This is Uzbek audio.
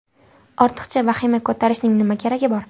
Ortiqcha vahima ko‘tarishning nima keragi bor?!